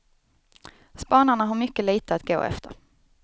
Spanarna har mycket lite att gå efter.